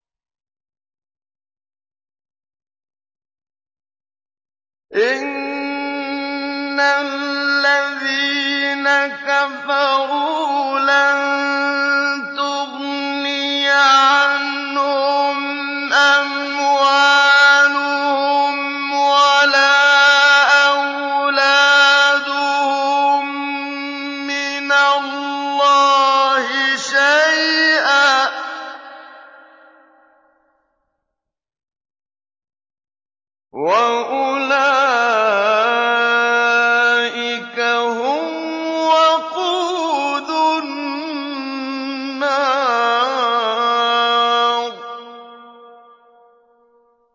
إِنَّ الَّذِينَ كَفَرُوا لَن تُغْنِيَ عَنْهُمْ أَمْوَالُهُمْ وَلَا أَوْلَادُهُم مِّنَ اللَّهِ شَيْئًا ۖ وَأُولَٰئِكَ هُمْ وَقُودُ النَّارِ